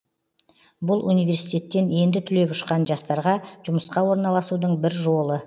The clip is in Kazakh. бұл университеттен енді түлеп ұшқан жастарға жұмысқа орналасудың бір жолы